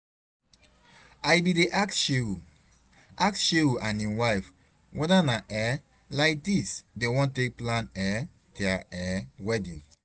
I bin dey ask Shehu ask shehu and im wife whether na like um dis dem wan take plan um dia um wedding